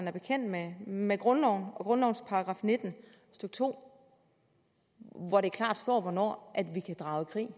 er bekendt med med grundloven og grundlovens § nitten stykke to hvor der klart står hvornår vi kan drage i krig